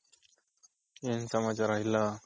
ಏನ್ ಸಮಾಚಾರ ಇಲ್ಲ